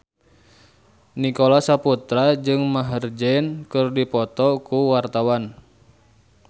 Nicholas Saputra jeung Maher Zein keur dipoto ku wartawan